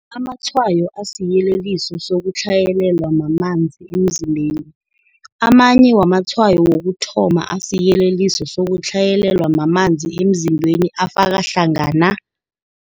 Amatshwayo asiyeleliso sokutlhayelelwa mamanzi emzimbeniAmanye wamatshwayo wokuthoma asiyeleliso sokutlhayelelwa mamanzi emzimbeni afaka hlangana,